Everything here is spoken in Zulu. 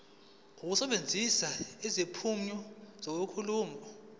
ukusebenzisa izimpawu zenkulumo